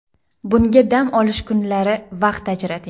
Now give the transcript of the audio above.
Bunga dam olish kunlari vaqt ajrating.